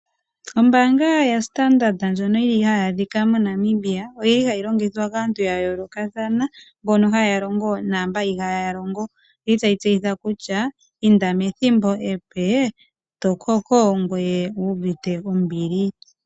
Ombaanga yaStandard ndjono yili hayi adhika MoNamibia, oyili hayi longithwa kaantu yayoolokathana, mbono haya longo, naamba ihaaya longo. Oyili tayi tseyitha kutya, inda methimbo epe, tokoko ngweye owu uvite ombili.